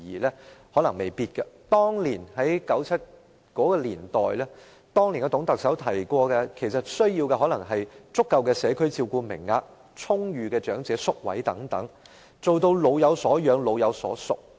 在董建華的年代，當時的需要可能只是足夠的社區照顧名額、充裕的長者宿位等，做到"老有所養、老有所屬"。